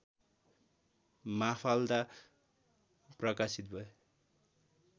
Mafalda प्रकाशित भए